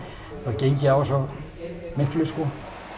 gengið á svo miklu sko